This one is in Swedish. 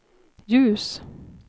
ljus